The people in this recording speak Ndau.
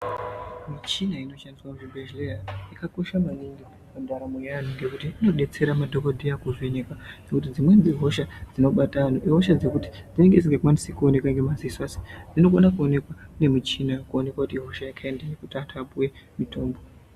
Michina inoshandiswa muzvibhedhleya yakakosha maningi mundaramo yeanthu ngekuti inodetsera madhokodheya kuvheneka ngekuti dzimweni dzehosha dzinobata anthu ihosha dzinonga dzisikaoneki ngemadziso asi dzinokone kuoneka ngemichini kuoneka kuti ihosha yekhaindinyi kuti anthu apuwe mutombo.